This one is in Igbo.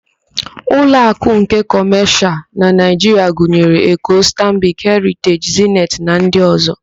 Uloakụ nke Kọmashịal na Naịjiria gụnyere: Eko, Stanbik, Heriteji, Zeniti na ndị ọ̀zọ́.